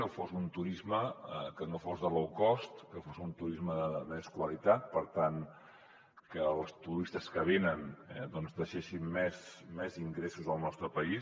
que fos un turisme que no fos de low cost que fos un turisme de més qualitat per tant que els turistes que vinguessin eh deixessin més ingressos al nostre país